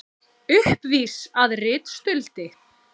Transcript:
Uppvís að ritstuldi